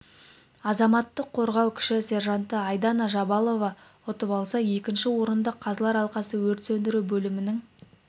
азаматтық қорғау кіші сержанты айдана жабалова ұтып алса екінші орынды қазылар алқасы өрт сөндіру бөлімінің